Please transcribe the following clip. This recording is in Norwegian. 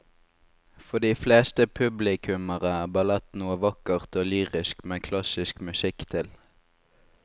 For de fleste publikummere er ballett noe vakkert og lyrisk med klassisk musikk til.